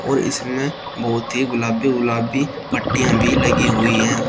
और इसमें बहोत ही गुलाबी गुलाबी पट्टियां भी लगी हुई हैं और--